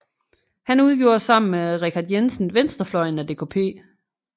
Han udgjorde sammen med Richard Jensen venstrefløjen af DKP